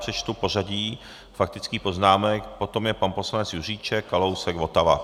Přečtu pořadí faktických poznámek: potom je pan poslanec Juříček, Kalousek, Votava.